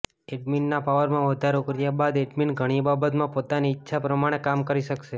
એડમિનના પાવરમાં વધારો કર્યા બાદ એડમીન ઘણી બાબતમાં પોતાની ઈચ્છા પ્રમાણે કામ કરી શકશે